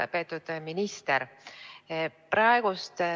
Lugupeetud minister!